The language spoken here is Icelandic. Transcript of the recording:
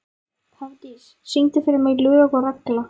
Hafdís, syngdu fyrir mig „Lög og regla“.